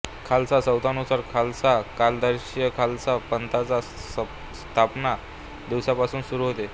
खालसा संवतानुसार खालसा कालदार्शिका खालसा पंथाच्या स्थापना दिवसापासून सुरू होते